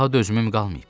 Daha dözümüm qalmayıb.